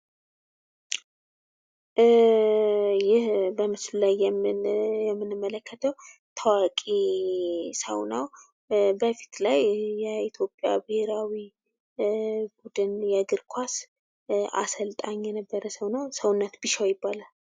ይህ በምስሉ ላይ የምንመለከተው ታዋቂ ሰው ነው። በፊት ላይ የኢትዮጵያ ብሔራዊ ቡድን የእግርኳስ አሰልጣኝ የነበረ ሰው ነው። ሰውነት ቢሻው ይባላል ።